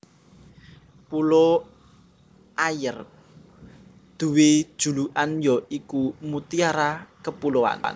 Pulo Ayer duwé julukan ya iku Mutiara Kepulauan